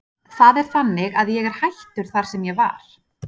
Það er þannig að ég er hættur þar sem ég var.